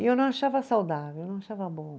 E eu não achava saudável, eu não achava bom.